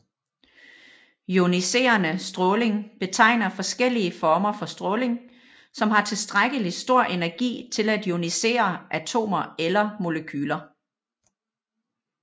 Ioniserende stråling betegner forskellige former for stråling som har tilstrækkelig stor energi til at ionisere atomer eller molekyler